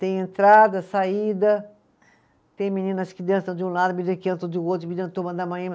Tem entrada, saída, tem meninas que dançam de um lado, meninas que dançam de outro,